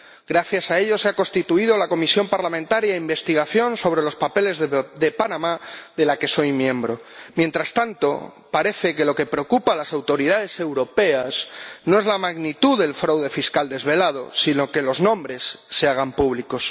Gracias a ello se ha constituido una comisión parlamentaria de investigación sobre los papeles de Panamá, de la que soy miembro. Mientras tanto, parece que lo que preocupa a las autoridades europeas no es la magnitud del fraude fiscal desvelado, sino que los nombres se hagan públicos.